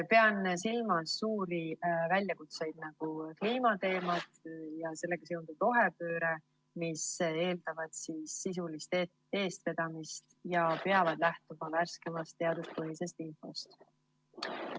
Pean silmas suuri väljakutseid, nagu kliimateemad ja sellega seotud rohepööre, mis eeldavad sisulist eestvedamist ja peavad lähtuma värskeimast teaduspõhisest infost.